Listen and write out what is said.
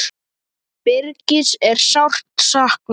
Birgis er sárt saknað.